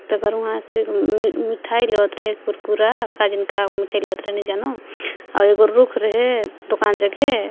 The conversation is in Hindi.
मिठाई लेवत रहे कुरकुरा काजनी का मिठाई लेवत रहे नइ जानॊ और एगो रुख रहे दुकान जाके--